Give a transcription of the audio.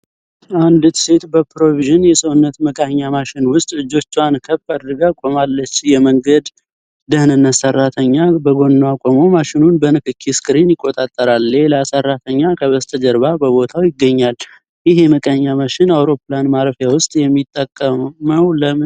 አንዲት ሴት በፕሮቪዥን ፪ የሰውነት መቃኛ ማሽን ውስጥ እጆቿን ከፍ አድርጋ ቆማለች። የመንገድ ደህንነት ሰራተኛ በጎኗ ቆሞ ማሽኑን በንክኪ ስክሪን ይቆጣጠራል። ሌላ ሰራተኛ ከበስተጀርባ በቦታው ይገኛል። ይህ የመቃኛ ማሽን አውሮፕላን ማረፊያዎች ውስጥ የሚጠቀመው ለምንድን ነው?